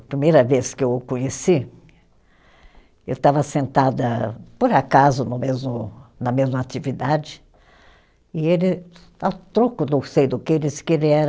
A primeira vez que eu o conheci, eu estava sentada, por acaso, no mesmo, na mesma atividade, e ele, a troco, não sei do que, disse que ele era